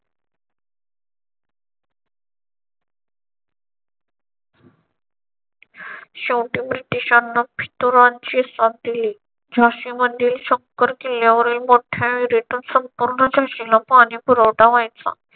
शेवटी ब्रिटिशांना फितुरांची साथ दिली. झाशी मधील शंकर किल्ल्यावरील मोठ्या return संपूर्ण झांशीला पाणीपुरवठा व्हायचा.